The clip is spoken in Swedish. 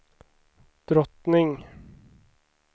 drottning